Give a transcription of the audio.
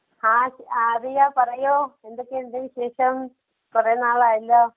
ആഹ് ആതിരാ പറയൂ. എന്തൊക്കെയുണ്ട് വിശേഷം? കൊറേ നാളായല്ലോ.